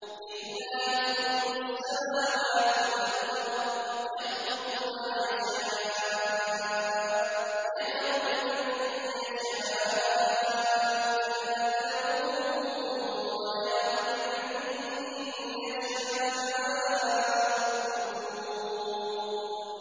لِّلَّهِ مُلْكُ السَّمَاوَاتِ وَالْأَرْضِ ۚ يَخْلُقُ مَا يَشَاءُ ۚ يَهَبُ لِمَن يَشَاءُ إِنَاثًا وَيَهَبُ لِمَن يَشَاءُ الذُّكُورَ